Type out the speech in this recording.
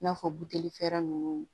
I n'a fɔ buteli fɛɛrɛ ninnu